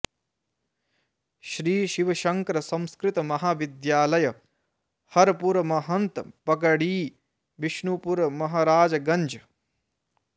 श्री शिवशंकर संस्कृत महाविद्यालय हरपुर महन्त पकड़ी विशुनपुर महराजगंज